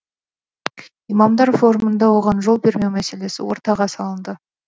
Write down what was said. имамдар форумында оған жол бермеу мәселесі ортаға салынды